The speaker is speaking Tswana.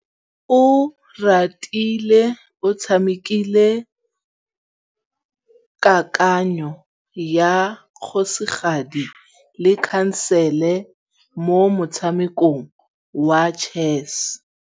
Oratile o tshamekile kananyô ya kgosigadi le khasêlê mo motshamekong wa chess.